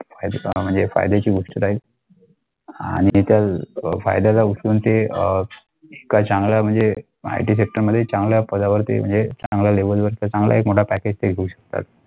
help म्हणजे फायद्याची गोष्ट आहे आणि तर फायदाला उचलून ते अ काय चांगला IT sector मध्ये चांगला म्हणजे पदावर ते म्हणजे चांगलं level वर ते चांगला एक मोठा package ते घेऊ शकता.